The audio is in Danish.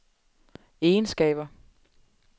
egenskaber